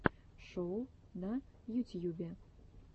шоу на ютьюбе